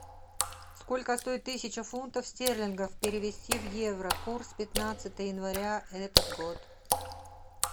сколько стоит тысяча фунтов стерлингов перевести в евро курс пятнадцатое января этот год